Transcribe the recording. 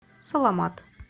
саламат